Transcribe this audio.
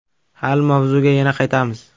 Hali mavzuga yana qaytamiz.